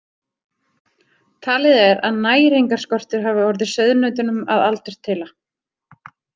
Talið er að næringarskortur hafi orðið sauðnautunum að aldurtila.